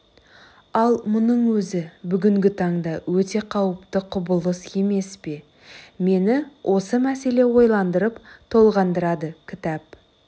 ал мұның өзі бүгінгі таңда өте қауіпті құбылыс емес пе мені осы мәселе ойландырып толғандырады кітап